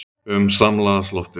um samlagast loftinu.